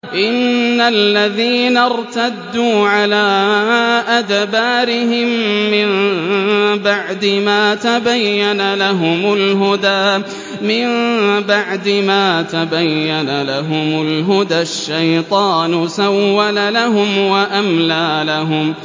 إِنَّ الَّذِينَ ارْتَدُّوا عَلَىٰ أَدْبَارِهِم مِّن بَعْدِ مَا تَبَيَّنَ لَهُمُ الْهُدَى ۙ الشَّيْطَانُ سَوَّلَ لَهُمْ وَأَمْلَىٰ لَهُمْ